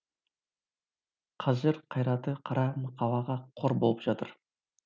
қажыр қайраты қара мақалаға қор болып жатыр